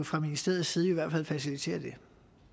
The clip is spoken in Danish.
fra ministeriets side kan facilitere det